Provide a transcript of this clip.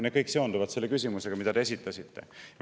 Need kõik seonduvad selle küsimusega, mille te esitasite.